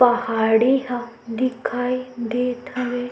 पहाड़ी ह दिखाई देत हवे।